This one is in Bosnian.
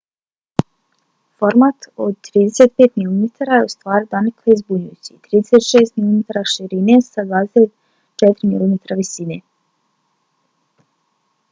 format od 35 mm je ustvari donekle zbunjujući - 36 mm širine sa 24 mm visine